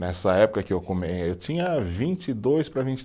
Nessa época que eu come eh, eu tinha vinte e dois para vinte